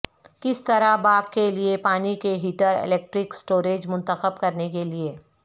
کس طرح باغ کے لئے پانی کے ہیٹر الیکٹرک اسٹوریج منتخب کرنے کے لئے